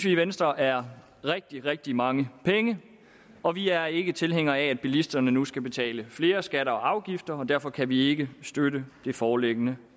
i venstre er rigtig rigtig mange penge og vi er ikke tilhængere af at bilisterne nu skal betale flere skatter og afgifter og derfor kan vi ikke støtte det foreliggende